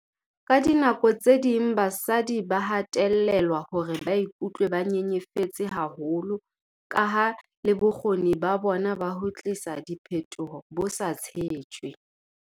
"Ka dinako tse ding basadi ba hatellelwa hore ba be ba ikutlwe ba nyenyefetse haholo kaha le bokgoni ba bona ba ho tlisa diphetoho bo sa tshetjwe."